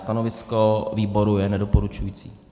Stanovisko výboru je nedoporučující.